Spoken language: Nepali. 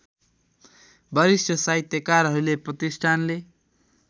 वरिष्ठ साहित्यकारहरूले प्रतिष्ठानले